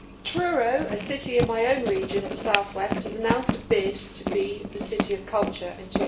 Truro, a city in my own region in the South West has announced a bid to be the City of Culture in